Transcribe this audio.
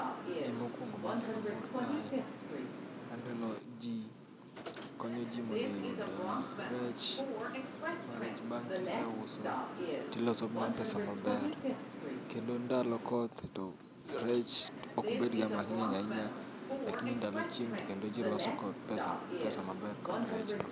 Gimokwongo makelo mor kae, aneno ji konyo ji mondo yud rech. Ma rech bang' kise uso, tiloso mana pesa maber. Kendo ndalo koth to rech ok bedga mang'eny ahinya, lakini ndalo chieng' to kendo ji loso ko pesa, pesa maber kod rechno.